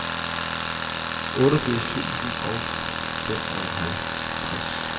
otteogfirs tusind og femoghalvtreds